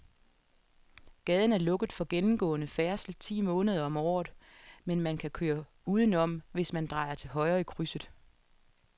Gaden er lukket for gennemgående færdsel ti måneder om året, men man kan køre udenom, hvis man drejer til højre i krydset.